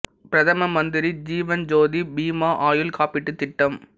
பிரதம மந்திரி ஜீவன் ஜோதி பீமா ஆயுள் காப்பீட்டுத் திட்டம்